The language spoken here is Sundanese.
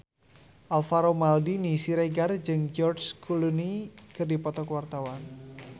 Alvaro Maldini Siregar jeung George Clooney keur dipoto ku wartawan